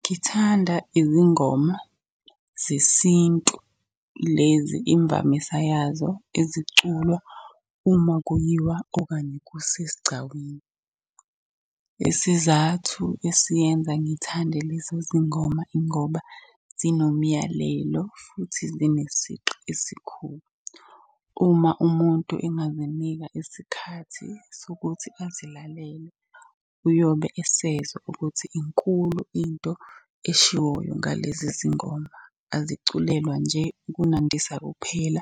Ngithanda izingoma zesintu lezi imvamisa yazo eziculwa uma kuyiwa, okanye kusesigcawini. Isizathu esiyenza ngithande lezi zingoma ingoba zinomyalelo, futhi zinesigqi esikhulu. Uma umuntu enganginika isikhathi sokuthi azilalelele, uyobe esezwa ukuthi inkulu into eshiwoyo ngalezi zingoma. Aziculelwa nje ukunandisa kuphela,